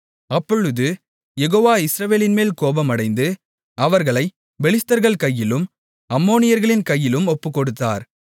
அப்பொழுது யெகோவா இஸ்ரவேலின்மேல் கோபமடைந்து அவர்களைப் பெலிஸ்தர்கள் கையிலும் அம்மோனியர்களின் கையிலும் ஒப்புக்கொடுத்தார்